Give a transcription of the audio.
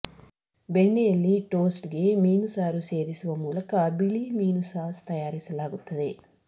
ಬೆಣ್ಣೆಯಲ್ಲಿ toast ಗೆ ಮೀನು ಸಾರು ಸೇರಿಸುವ ಮೂಲಕ ಬಿಳಿ ಮೀನು ಸಾಸ್ ತಯಾರಿಸಲಾಗುತ್ತದೆ